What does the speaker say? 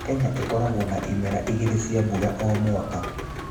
Kenya ĩkoragwo na imera igĩrĩ cia mbura o mwaka